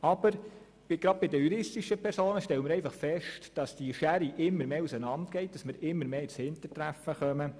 Aber gerade bei den juristischen Personen stellen wir fest, dass die Schere immer weiter auseinandergeht und wir immer mehr ins Hintertreffen geraten.